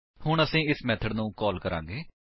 ਹੁਣ ਅਸੀ ਇਸ ਮੇਥਡ ਨੂੰ ਕਾਲ ਕਰਾਂਗੇ